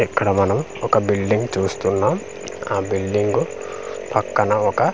ఇక్కడ మనం ఒక బిల్డింగ్ చూస్తున్నాం ఆ బిల్డింగు పక్కన ఒక--